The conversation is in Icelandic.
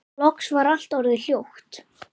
Loks var allt orðið hljótt.